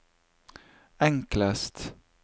enklest